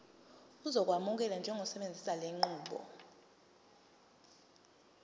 uzokwamukelwa njengosebenzisa lenqubo